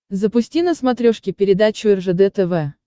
запусти на смотрешке передачу ржд тв